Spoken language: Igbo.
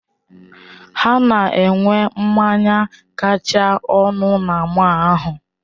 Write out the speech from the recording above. Ha na-enwe mmanya kacha ọnụ na mọll ahụ.